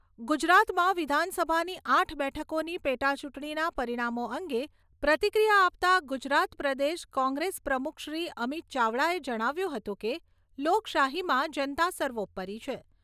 ગુજરાતમાં વિધાનસભાની આઠ બેઠકોની પેટા ચૂંટણીના પરિણામો અંગે પ્રતિક્રિયા આપતાં ગુજરાત પ્રદેશ કોંગ્રેસ પ્રમુખ શ્રી અમિત ચાવડાએ જણાવ્યું હતું કે લોકશાહીમાં જનતા સર્વોપરી છે.